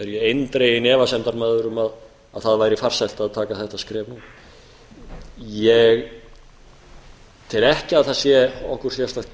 ég eindreginn efasemdarmaður um að það væri farsælt að taka þetta skref nú ég tel ekki að það sé okkur sérstakt